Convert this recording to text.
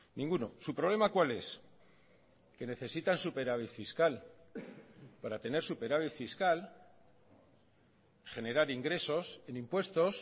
ninguno su problema cuál es que necesitan superávit fiscal para tener superávit fiscal generar ingresos en impuestos